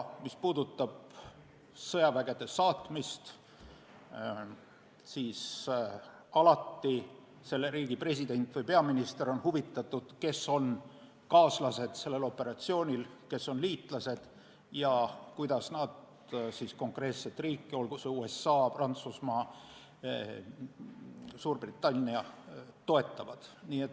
Mis puudutab aga sõjavägede saatmist, siis alati on operatsioonikaaslaste president või peaminister huvitatud sellest, kes on liitlased ja kuidas nad konkreetset riiki, olgu see USA, Prantsusmaa või Suurbritannia, toetavad.